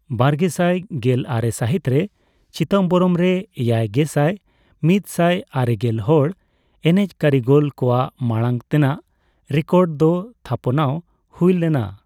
ᱵᱟᱨᱜᱮᱥᱟᱭ ᱜᱮᱞ ᱟᱨᱮ ᱥᱟᱹᱦᱤᱛ ᱨᱮ ᱪᱤᱫᱟᱢᱵᱚᱨᱚᱢ ᱨᱮ ᱮᱭᱟᱭᱜᱮᱥᱟᱭ ,ᱢᱤᱫ ᱥᱟᱭ ᱟᱨᱮᱜᱮᱞ ᱦᱚᱲ ᱮᱱᱮᱡ ᱠᱟᱹᱨᱤᱜᱚᱞ ᱠᱚᱣᱟᱜ ᱢᱟᱲᱟᱝ ᱛᱮᱱᱟᱜ ᱨᱮᱠᱚᱨᱰ ᱫᱚ ᱛᱷᱟᱯᱱᱟᱣ ᱦᱩᱭ ᱞᱮᱱᱟ ᱾